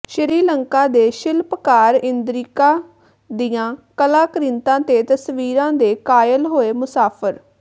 ਸ੍ਰੀਲੰਕਾ ਦੇ ਸ਼ਿਲਪਕਾਰ ਇੰਦਿਕਾ ਦੀਆਂ ਕਲਾਕ੍ਰਿਤਾਂ ਤੇ ਤਸਵੀਰਾਂ ਦੇ ਕਾਇਲ ਹੋਏ ਮੁਸਾਫ਼ਰ